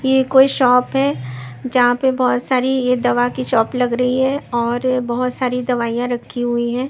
ये कोई शॉप है जहां पे बहुत सारी ये दवा की शॉप लग रही है और बहुत सारी दवाइयां रखी हुई हैं।